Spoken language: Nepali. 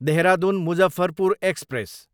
देहरादुन, मुजफ्फरपुर एक्सप्रेस